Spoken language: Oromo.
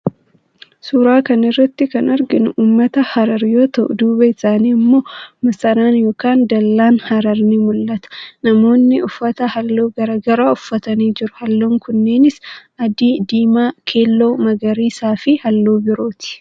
Suuraa kana irratti kan arginu ummata harar yoo ta'u duubaa isaanitti immoo masaraan ykn dallaan harar ni mul'aata. Namoonni uffata halluu garaagaraa uffatanii jiruu, halluun kunneenis, adii, diimaa, keelloo, magariisa fi halluu birooti.